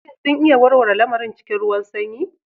Shin sun iya warware lamarin cikin ruwan sanyi?